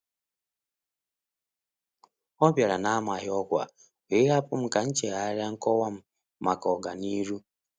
Ọ bịara n'amaghị ọkwa, wee hapụ m ka m chegharịa nkọwa m maka ọga niru.